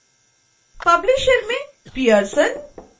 publisher में pearson